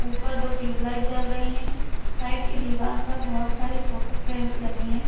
ऊपर दो ट्यूबलाइट जल रही है साइड की दीवार पर बोहोत सारी फोटो फ्रेम्स लगी हैं।